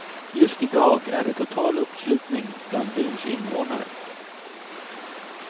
Just i dag är det total uppslutning bland byns invånare.